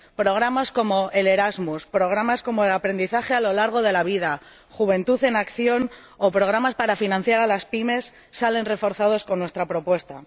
Los programas como Erasmus, los de aprendizaje a lo largo de la vida, Juventud en Acción o los programas para financiar a las PYME salen reforzados con nuestra propuesta.